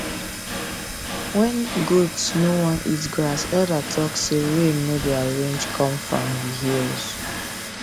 when goat no want eat grass elder talk say rain no dey arrange come from the hills